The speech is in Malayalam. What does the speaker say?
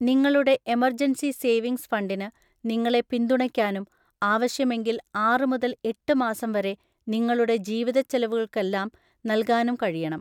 നിങ്ങളുടെ എമർജൻസി സേവിംഗ്സ് ഫണ്ടിന് നിങ്ങളെ പിന്തുണയ്ക്കാനും ആവശ്യമെങ്കിൽ ആറ് മുതൽ എട്ട് മാസം വരെ നിങ്ങളുടെ ജീവിതച്ചെലവുകൾക്കെല്ലാം നൽകാനും കഴിയണം.